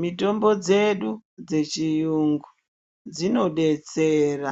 Mitombo dzedu dzechiyungu dzinodetsera